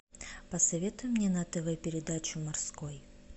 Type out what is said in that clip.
посоветуй мне на тв передачу морской